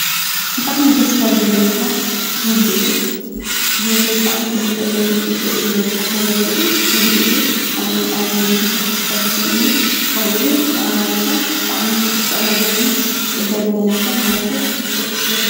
ብጣዕሚ ደስ ካብ ዝብለኒ ስራሕ ንግዲ እዩ፡፡ ንህይወተይ ብጣዕሚ ክልውጠለይ ይኽእል እዩ ኢለ ዝሓስቦ ነገር እውን ንግዲ እዩ፡፡ ኣነ እውን ኣብ ንግዲ ስራሕ ክሳተፍ እኒአኒ፡፡ ከምኡውን ንዓማዊልካ ብጣዕሚ ክተስተኣናግድን ክትቅበልን ኣለካ፡፡ ምኽንያቱ ብዙሕ ትርፊ ስለ ትረክብ፡፡